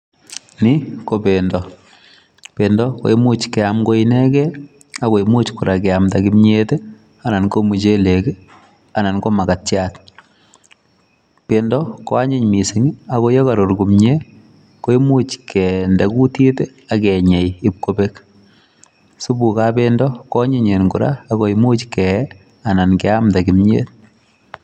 Ni ko bendo, bendo koimuch keam ko inekei ako imuch kora keamda kimiet ii anan ko muchelek ii anan ko makatiat, bendo koa anyiny mising ako ye karur komie, koimuch kende kutit ii ak kenyei ip kobek, supukab bendo ko anyinyen kora ako imuch kee anan keamda kimiet.